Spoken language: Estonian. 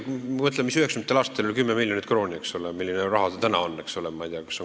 Mõelda, mis summa 1990. aastatel oli 10 miljonit krooni, eks ole, ja milline raha see täna on!